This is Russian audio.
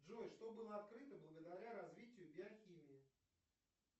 джой что было открыто благодаря развитию биохимии